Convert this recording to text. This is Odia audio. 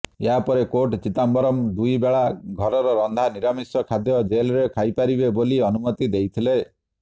ଏହାପରେ କୋର୍ଟ ଚିଦାମ୍ବରମ ଦୁଇ ବେଳା ଘରର ରନ୍ଧା ନିରାମିଷ ଖାଦ୍ୟ ଜେଲରେ ଖାଇପାରିବେ ବୋଲି ଅନୁମତି ଦେଇଥିଲେ